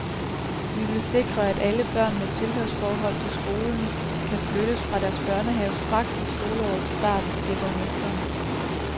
Vi vil sikre, at alle børn med tilhørsforhold til skolen kan flytte fra deres børnehave straks ved skoleårets start, siger borgmesteren.